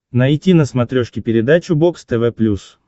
найти на смотрешке передачу бокс тв плюс